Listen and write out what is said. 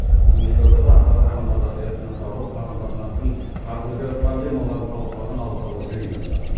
бүгін елордада қазақстандағы этносаралық қарым қатынастың қазіргі проблемаларын талқылаған алқалы жиын өтті